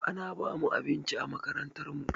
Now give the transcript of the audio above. Ana bamu abinci a makarantar mu